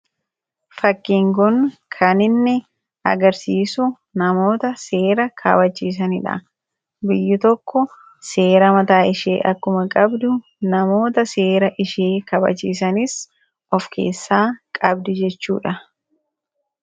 Fakkiin kun kan inni agarsiisu namoota seera kabachiisanidha. Biyyi tokko seera mataa ishee akkuma qabdu, namoota seera ishee kabachiisanis of keessaa qabdi jechuudha.